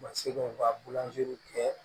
Ma se k'o ka bulanzeri kɛ